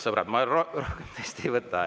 Sõbrad, ma rohkem tõesti ei võta.